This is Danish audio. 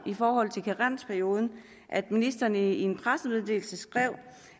i forhold til karensperioden at ministeren i en pressemeddelelse skrev